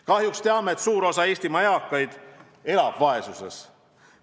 Kahjuks teame, et suur osa Eestimaa eakaid elab vaesuses.